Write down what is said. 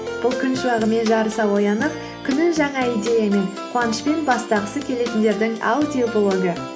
бұл күн шуағымен жарыса оянып күнін жаңа идеямен қуанышпен бастағысы келетіндердің аудиоблогы